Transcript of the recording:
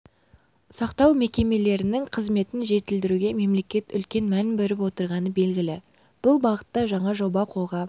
сақтау мекемелерінің қызметін жетілдіруге мемлекет үлкен мән беріп отырғаны белгілі бұл бағытта жаңа жоба қолға